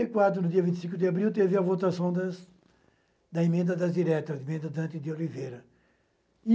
e quatro, no dia vinte e cinco de abril, teve a votação das da emenda das diretas, a emenda Dante de Oliveira.